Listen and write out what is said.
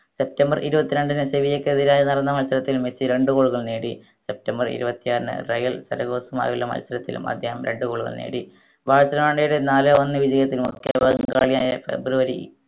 September ഇരുവത്രണ്ടിന്‌ സെർബിയക്കെതിരായ് നടന്ന മത്സരത്തിൽ മെസ്സി രണ്ട് goal കൾ നേടി സെപ്റ്റംബർ ഇരുവത്തിയാറിന് റയൽ ഫെറഗോസുമായുള്ള മത്സരത്തിലും അദ്ദേഹം രണ്ട് goal കൾ നേടി ബാഴ്‌സലോണയുടെ നാലേ ഒന്നേ വിജയത്തിനോട് ഫെബ്രുവരി